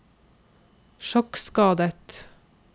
sjokkskadet